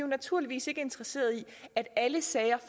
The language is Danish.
naturligvis ikke interesserede i at alle sager